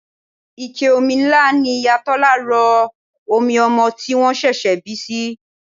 Ike omi ńlá ni Ìyá Tọ́lá rọ omi ọmọ tí wọ́n ṣẹ̀ṣẹ̀ bí sí.